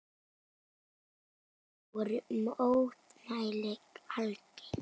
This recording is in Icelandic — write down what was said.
Eftir það voru mótmæli algeng.